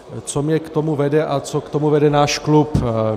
Co mě k tomu vede a co k tomu vede náš klub?